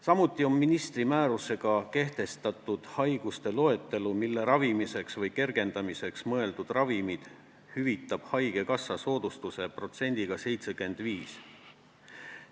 Samuti on ministri määrusega kehtestatud haiguste loetelu, mille ravimiseks või kergendamiseks mõeldud ravimid hüvitab haigekassa soodustuse protsendiga 75.